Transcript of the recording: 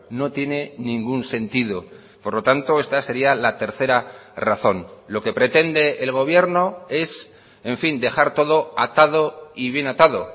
no tiene ningún sentido por lo tanto esta sería la tercera razón lo que pretende el gobierno es en fin dejar todo atado y bien atado